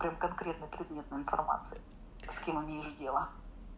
прям конкретно предметную информацию с кем имеешь дело